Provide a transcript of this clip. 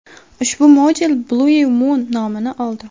Ushbu modul Blue Moon nomini oldi.